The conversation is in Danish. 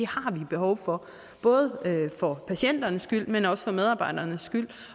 har vi behov for både for patienternes skyld men også for medarbejdernes skyld